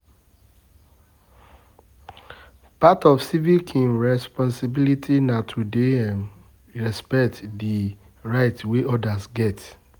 Part of civic responsibility na to dey um respect di rights wey others get